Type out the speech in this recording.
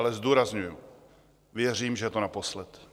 Ale zdůrazňuji: Věřím, že je to naposled.